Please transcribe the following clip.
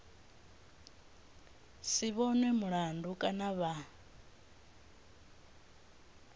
si vhonwe mulandu kana vha